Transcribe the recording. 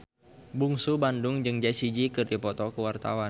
Bungsu Bandung jeung Jessie J keur dipoto ku wartawan